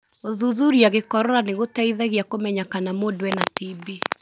Gũthuthuria gĩkorora nĩgũteithagia kũmenya kana mũndũ ena TB.